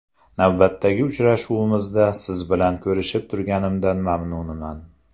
Navbatdagi uchrashuvimizda siz bilan ko‘rishib turganimdan mamnunman.